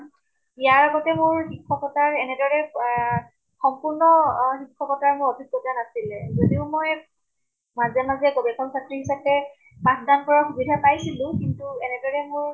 ইয়াৰ আগতে মোৰ শিক্ষ্কতাৰ এনেদৰে এহ সম্পূৰ্ণ অহ শিক্ষ্কতাৰ মোৰ অভিজ্ঞ্তা নাছিলে। যদিও মই মাজে মাজে গৱেষক ছাত্ৰ্ৰী হিচাপে পাঠ দান কৰাৰ সুবিধা পাইছিলো, কিন্তু এনেদৰে মোৰ